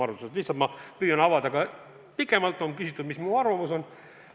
Lihtsalt ma püüan avada laiemalt, kui on küsitud, mis mu arvamus on.